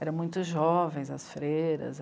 Eram muito jovens, as freiras.